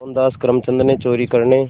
मोहनदास करमचंद गांधी ने चोरी करने